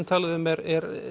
talið um er